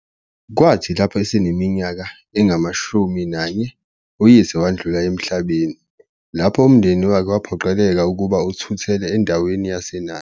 Kwathi eseneminyaka engama-11 uyise wadlula emhlabeni, lapho umndeni wakhe waphoqeleka ukuba uthuthele endaweni yaseNanda.